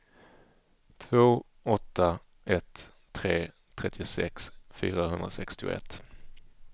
två åtta ett tre trettiosex fyrahundrasextioett